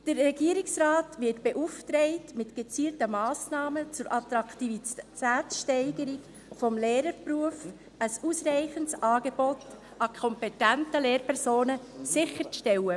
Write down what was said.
Der Regierungsrat wird beauftragt, mit gezielten Massnahmen zur Attraktivitätssteigerung des Lehrerberufs ein ausreichendes Angebot an kompetenten Lehrpersonen sicherzustellen.